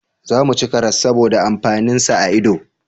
Za mu ci karas saboda amfanin sa a ido